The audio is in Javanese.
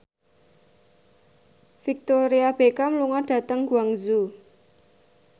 Victoria Beckham lunga dhateng Guangzhou